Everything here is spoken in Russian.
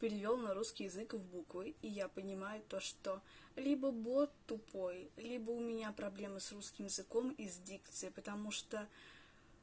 перевёл на русский язык в буквы и я понимаю то что либо бот тупой либо у меня проблемы с русским языком и с дикцией потому что